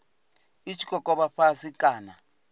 i tshi kokovha fhasi kana